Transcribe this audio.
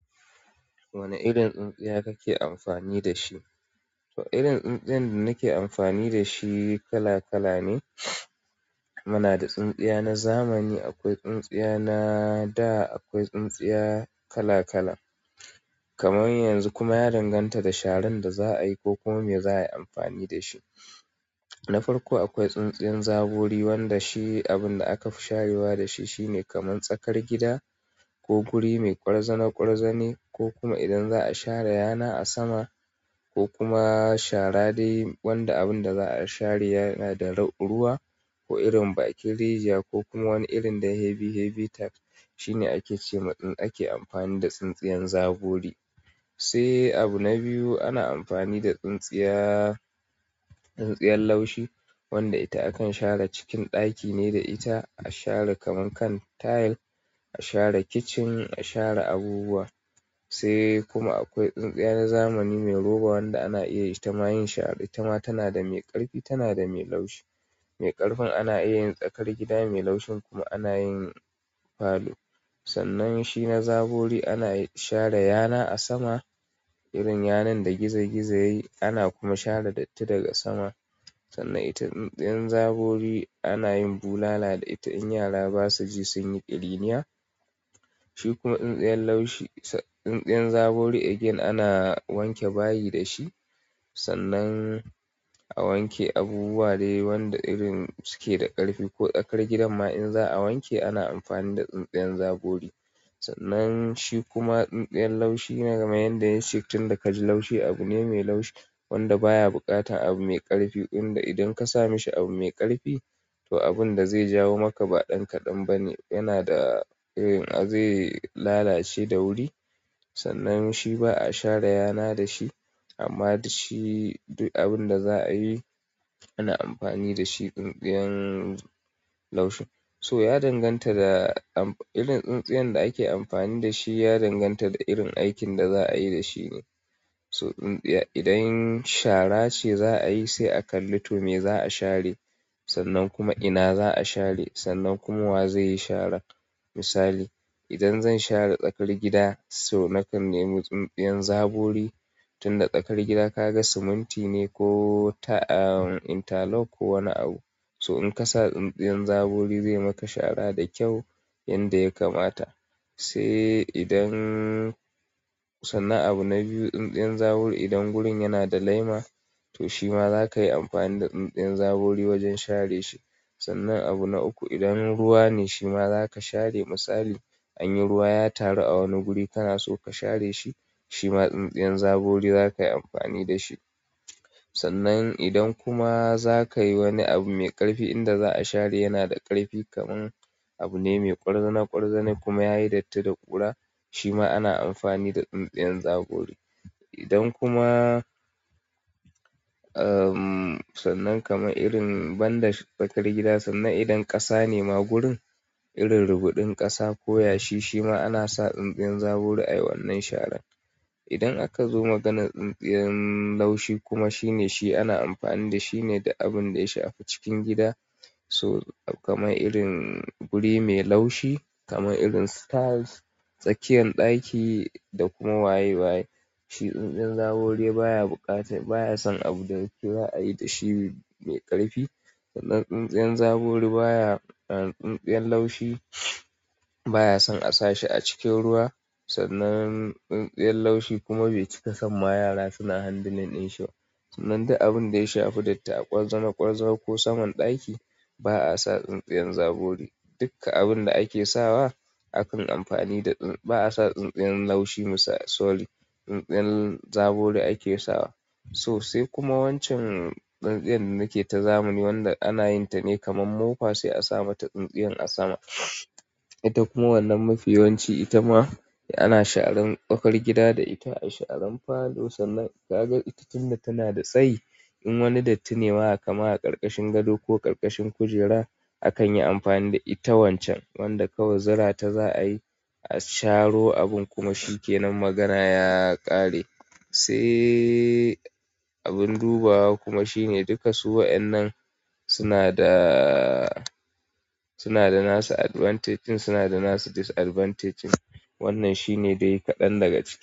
Wane irin tsintsiya kake amfani da shi? To irin tsintsiya da nake amfani da shi kala kala ne. Muna da tsintsiya na zamani, akwai tsintsiya na da, akwai tsintsiya kala kala. Kamar yanzu kuma ya danganta da sharan da za a yi ko kuma me za a yi amfani da shi. Na farko akwai tsintsiyan zabori wanda shi abun da aka sharewa da shi shine kamar tsakar gida ko guri mai kwarzana kwarzane ko kuma idan za a share yana a sama ko kuma shara dai wanda abun da za a share yana da ruwa ko irin bakin rijiya ko kuma wani irin da heavy, heavy task shine ake ce ma idan ake amfani da tsintsiyan zabori. Sai abu na biyu ana amfani da tsintsiya, tsintsiyar laushi wanda ita akan share cikin ɗaki ne da ita a share kaman kan tile, a share kitchen, a share abubuwa. Sai kuma akwai tsintsiya na zamani mai roba wanda ana iya ita ma yin shara. Ita ma tana da mai ƙarfi, tana da mai laushi. Mai ƙarfin ana iya yin tsakar gida, mai laushin kuma ana yin falo. Sannan shi na zabori ana share yana a sama, irin yanan da gizo gizo yayi ana kuma share datti daga sama. Sannan ita tsintsiyan zabori anayin bulala da ita in yara basuji sunyi kiriniya shi kuma tsintsiyar laushi, tsintsiyan zaburi again ana wanke bayi da shi. Sannan a wanke abubuwa dai wanda irin suke da ƙarfi ko tsakar gidan ma in za a wanke ana amfani da tsintsiyan zabori. Sannan shi kuma tsintsiyan laushi na game yanda yayi shi tun da ka ji laushi abu ne mai laushi wanda baya buƙata abu mai ƙarfi inda idan ka sa mashi abu mai ƙarfi to abun da zai jawo maka ba ɗan ka ɗan ba ne. Yana da irin zai lalace da wuri. Sannan shi ba a share yana da shi amma da shi abun da za a yi ana amfani da shi tsintsiyan laushi. To ya danganta da am irin tsintsiya da ake amfani da shi ya danganta da irin aikin da za a yi da shi ne. So tsintsiya idan shara ce za a yi sai a kalli to me za a share. Sannan kuma ina za a share, sannan kuma wa zai yi shara. Misali, idan zan share tsakar gida so nakan nemi tsintsiyan zabori tun da tsakar gida ka ga siminti ne ko ta am inta lock ko wani abu. So in ka sa tsintsiyan zabori zai maka shara da kyau yanda ya kamata. Sai idan sannan abu na biyu, tsintsiyan zabori idan gurin yana da laima to shi ma za ka yi amfani da tsintsiyan zabori wajen share shi. Sannan abu na uku, idan ruwa ne shi ma za ka share. Misali, anyi ruwa ya taru a wani guri kana so ka share shi, shi ma tsintsiyan zabori za ka yi amfani da shi. Sannan idan kuma za ka yi wani abu mai ƙarfi inda za a share yana da ƙarfi kamar abu ne mai kwarzana kwarzane kuma yayi datti da ƙura, shi ma ana amfani da tsintsiyan zabori. Idan kuma, amm, sannan kamar irin banda tsakar gida sannan idan ƙasa ne ma gurin, irin rubuɗin ƙasa ko yashi shi ma ana sa tsintsiyan zaburi a wannan sharan. Idan akazo maganan tsintsiyan laushi kuma shi ne, shi ana amfani dashi ne duk abinda ya shafi cikin gida to kamar irin guri mai laushi, kamar irin tiles, tsakiyar ɗaki da kuma waye waye. Shi tsintsiyan zabori baya buƙata, baya son abun da kika a yi da shi mai ƙarfi. Sannan tsintsiyan zabori baya, amm tsintsiyan laushi baya son a sa shi a cikin ruwa. Sannan tsintsiyan laushi kuma bai cika son ma yara suna handling ɗin shi ba. Sannan duk abun da ya shafi datti, a kwarzana kwarza ko saman ɗaki ba a sa tsintsiyan zabori. Dukka abun da ake sawa, aka yi amfani da tsi, ba a sa tsintsiyan laushi. Misali, tsintsiyan zaburi ake sawa. To sai kuma wancan tsintsiya da nake ta zamani wanda ana yin ta ne kamar mofa sai a sa mata tsintsiyan a sama. Ita kuma wannan mafiyawanci ita ma ana sharan tsakar gida da ita, ana sharan falo. Sannan ka ga ita tunda tana da tsayi in wani dattin ne ma haka, kamar a ƙarƙashin gado ko ƙarƙashin kujera akan yi amfani da ita wancan. Wanda kawai zura ta za a yi a sharo abun kuma shi ke nan magana ya ƙare. Sai abin dubawa kuma shine duka su waɗannan suna da, suna da nasu advantage ɗin, suna da nasu disadvantage ɗin. Wannan shi ne dai kaɗan daga ciki.